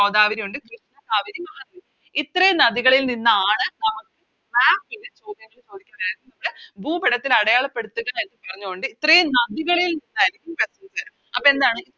ഗോദാവരി ഒണ്ട് കാവേരി മഹാനദി ഇത്രേം നദികളിൽ നിന്നാണ് നമുക്ക് Maximum ചോദ്യങ്ങള് ചോദിക്കുന്നത് ഭൂപടത്തിൽ അടയാളപ്പെടുത്തുക എന്ന് പറഞ്ഞോണ്ട് ഇത്രേം നദികളിൽ നിന്നായിരുന്ന Questions വര അപ്പൊ എന്താണ്